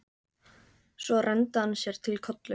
Svo renndi hann sér til Kollu.